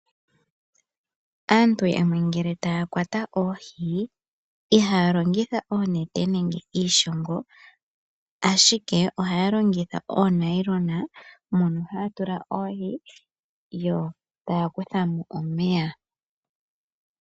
Aantu yamwe ngele taya kwata oohi, ihaya longitha oonete nenge iishongo, ashike ohaya longitha oonayilona, mono haya tula oohi yo taya kuthamo omeya.